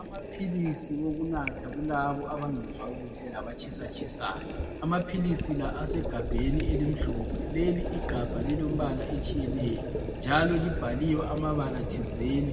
Amaphilisi okunatha kulabo abangezwa kuhle labatshisatshisayo. Amaphilisi la asegabheni elimhlophe leli Igabha lilombala etshiyeneyo njalo libhaliwe amabala thizeni